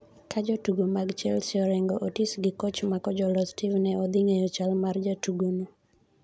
Ka jotugo mag Chelsea Orengo, Otis gi koch ma kojolo Steve ne odhi ng'eyo chal mar jatugono